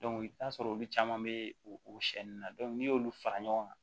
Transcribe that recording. i bɛ t'a sɔrɔ olu caman bɛ o na n'i y'olu fara ɲɔgɔn kan